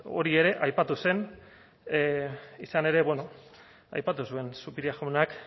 bueno hori ere aipatu zen izan ere bueno aipatu zuen zupiria jaunak